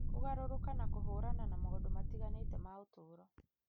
kũgarũrũka na kũhũrana na maũndũ matiganĩte ma ũtũũro.